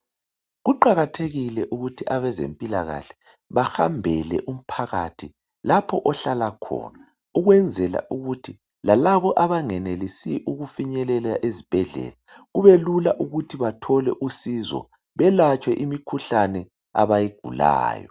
Kuqakathekile ukuthi abezempilakahle bahambele umphakathi lapho ohlala khona ukwenzela ukuthi lalabo abangenelisi ukufinyelela ezibhedlela kubelula ukuthi bathole usizo belatshwe imikhuhlane abayigulayo.